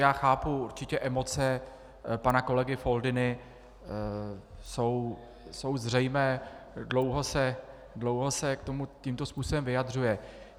Já chápu určitě emoce pana kolegy Foldyny, jsou zřejmé, dlouho se k tomu tímto způsobem vyjadřuje.